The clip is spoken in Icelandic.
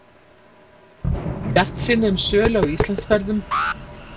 Bjartsýni um sölu á Íslandsferðum